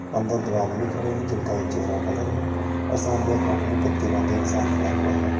अंदर दो आदमी खड़े हैं जिनका एक चेहरा ब्लर है और सामने हाथ में पट्टी बांधे इंसान खड़ा हुआ है।